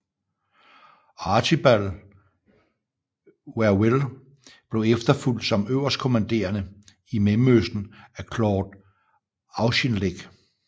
Archibald Wavell blev efterfulgt som øverstkommanderende i Mellemøsten af Claude Auchinleck